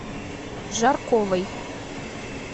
жарковой